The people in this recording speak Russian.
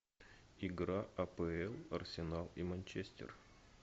игра апл арсенал и манчестер